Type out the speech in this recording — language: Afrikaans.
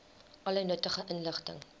alle nuttige inligting